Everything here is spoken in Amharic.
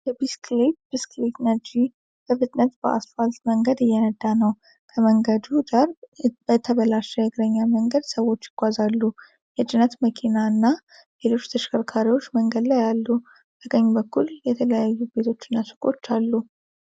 የቢስክሌት (ብስክሌት) ነጂ በፍጥነት በአስፋልት መንገድ እየነዳ ነው። ከመንገዱ ዳር በተበላሸ የእግረኛ መንገድ ሰዎች ይጓዛሉ። የጭነት መኪና እና ሌሎች ተሽከርካሪዎች መንገድ ላይ አሉ። በቀኝ በኩል የተለያዩ ቤቶች እና ሱቆች አሉ።